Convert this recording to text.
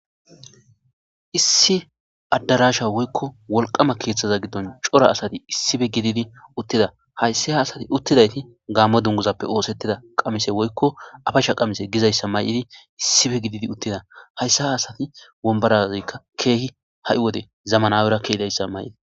issi addarasha woykko wolqama keeththaza giddon cora asati issife gididi uttida hayssi ha asati uttidayti gammo dunguzappe oosettida qamise woykko afacsha qamise gizayssa may7idi issife gididi uttida hayssi ha asati wombarazeykka keehi ha7i wode zamanawerakke idayssa may7id